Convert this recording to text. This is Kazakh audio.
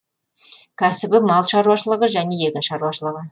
кәсібі мал шаруашылығы және егін шаруашылығы